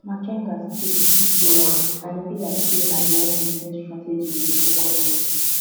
but makenga still be key player and e be like say na behind di scene strategy e dey focus on